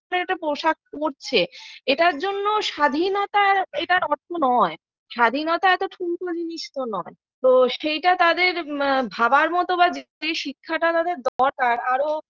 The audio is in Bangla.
একটা পোশাক পড়ছে এটার জন্য স্বাধীনতার এটার অর্থ নয় স্বাধীনতা এত ঠুনকো জিনিস তো নয় তো সেইটা তাদের আ ভাবার মত যে শিক্ষাটা তাদের দরকার আরো